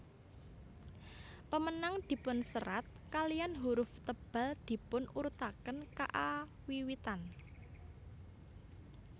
Pemenang dipunserat kaliyan huruf tebal dipun urutaken kaawiwitan